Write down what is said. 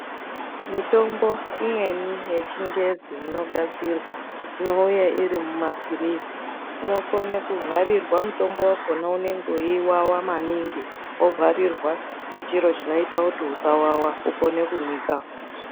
Mitombo imweni yechingezi inogadzirwa inouya iri mumapirizi inokone kuvharirwa mutombo wakhona unenge weiwawa maningi wovharirwa ngechiro chinoita kuti usawawa ukone kumwika.